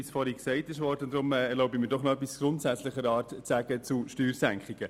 Deshalb erlaube ich mir, noch etwas Grundsätzliches zu dieser Steuersenkung zu sagen.